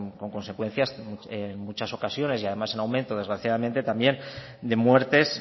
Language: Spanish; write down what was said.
con consecuencias en muchas ocasiones y además en aumento desgraciadamente también de muertes